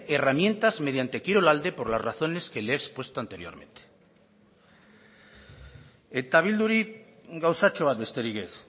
herramientas mediante kirolalde por las razones que le he expuesto anteriormente eta bilduri gauzatxo bat besterik ez